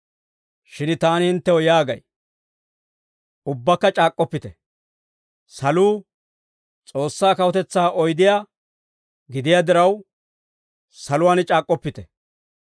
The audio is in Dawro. Shin taani hinttew yaagay; ‹Ubbakka c'aak'k'oppite›; saluu S'oossaa kawutetsaa oydiyaa gidiyaa diraw, ‹Saluwaan c'aak'k'oppite›